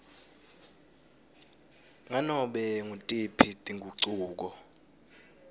nganobe ngutiphi tingucuko